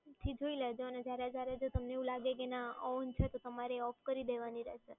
થી જોઈ લેવાનું કે તમને જ્યારે જ્યારે એવું લાગે કે on છે તો તમારે off કરી દેવાનું રહેશે.